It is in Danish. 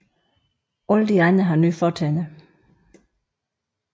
Alle de andre har nye fortænder